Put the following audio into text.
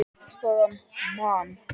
Staðan: Man.